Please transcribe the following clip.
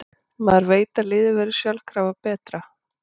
Maður veit að liðið verður sjálfkrafa betra.